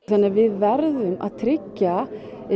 við verðum að tryggja